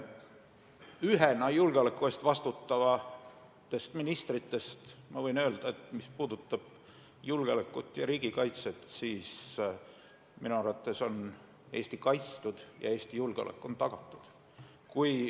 Ühena julgeoleku eest vastutavatest ministritest võin öelda, et mis puudutab julgeolekut ja riigikaitset, siis minu arvates on Eesti kaitstud ja Eesti julgeolek on tagatud.